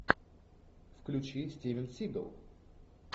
включи стивен сигал